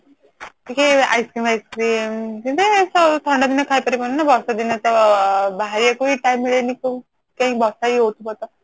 ଟିକେ Ice Cream ବାଇସକ୍ରୀମ ଯେମିତି ଥଣ୍ଡା ଦିନେ ଖାଇପରିବନି ନା ବର୍ଷା ଦିନେ ତ ବାହାରିବାକୁ time ମିଳେନି ବର୍ଷା ହି ହଉଥିବ ତ